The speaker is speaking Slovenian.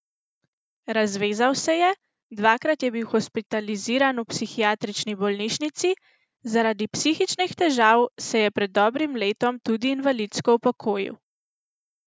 Razvezal se je, dvakrat je bil hospitaliziran v psihiatrični bolnišnici, zaradi psihičnih težav se je pred dobrim letom tudi invalidsko upokojil.